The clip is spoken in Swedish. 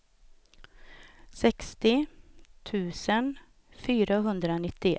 sextio tusen fyrahundranittioett